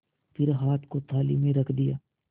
फिर हाथ को थाली में रख दिया